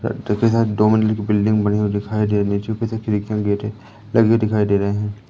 साथ दो मंजिल की बिल्डिंग बनी हुई दिखाई दे रही है नीचे की तरफ खिड़कियां गेट है लगी हुए दिखाई दे रहे हैं।